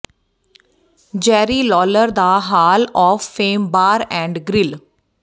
ਜੈਰੀ Lawler ਦਾ hall of fame bar and grill